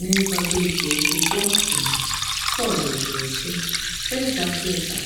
N’ịgwa Agrịpa okwu kpọmkwem, Pọl jụrụ sị: “Eze Agrịpa,